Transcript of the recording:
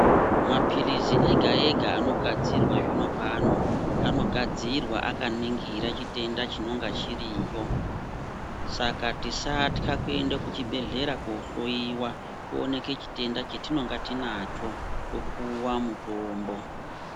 Mapilizi ega ega anogadzirwa zvino pano anogadzirwa akaningira chitenda chinonga chiriyo saka tisatha kuenda kuchibhedhlera kuhloyiwa tooneka chitenda chetinonga tinacho topuwa mutombo.